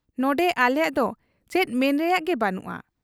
ᱱᱚᱱᱰᱮ ᱟᱞᱮᱭᱟᱜ ᱫᱚ ᱪᱮᱫ ᱢᱮᱱ ᱨᱮᱭᱟᱜ ᱜᱮ ᱵᱟᱹᱱᱩᱜ ᱟ ᱾